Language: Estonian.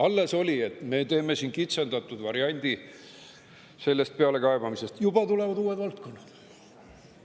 Alles oli, et me teeme siin kitsendatud variandi sellest pealekaebamisest, aga juba tulevad uued valdkonnad.